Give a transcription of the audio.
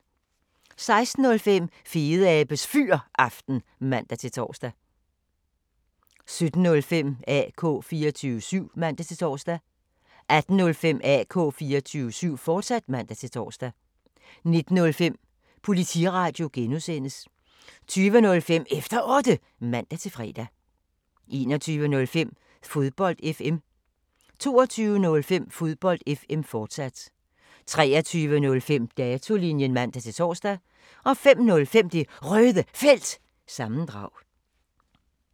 16:05: Fedeabes Fyraften (man-tor) 17:05: AK 24syv (man-tor) 18:05: AK 24syv, fortsat (man-tor) 19:05: Politiradio G) 20:05: Efter Otte (man-fre) 21:05: Fodbold FM 22:05: Fodbold FM, fortsat 23:05: Datolinjen (man-tor) 05:05: Det Røde Felt – sammendrag